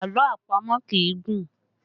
Àlọ́ àpamọ̀ kì í gùn